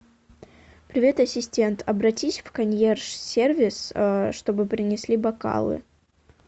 привет ассистент обратись в консьерж сервис чтобы принесли бокалы